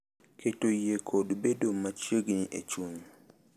Keto yie kod bedo machiegni e chuny.